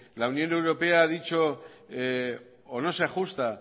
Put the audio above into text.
la unión europea ha dicho o no se ajusta